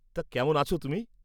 তা, কেমন আছ তুমি?